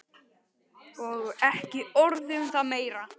Og ekki orð um það meira!